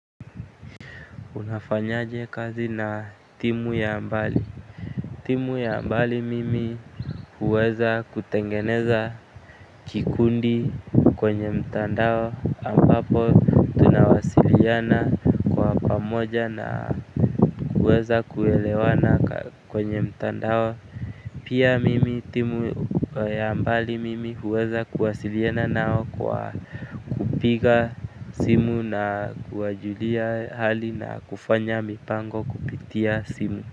Unafanyaje kazi na timu ya mbali. Timu ya mbali mimi huweza kutengeneza kikundi kwenye mtandao ambapo tunawasiliana kwa pamoja na kuweza kuelewana kwenye mtandao. Pia mimi timu ya mbali mimi huweza kuwasiliana nao kwa kupiga simu na kuwajulia hali na kufanya mipango kupitia simu.